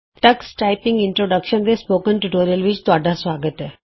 Tux typing introduction ਦੇ spoken tutorial ਵਿਚ ਤੁਹਾਡਾ ਸੁਆਗਤ ਹੈ